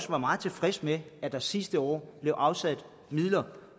var meget tilfreds med at der sidste år blev afsat midler